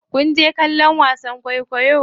Kinje kallon wasan kwaikwayo?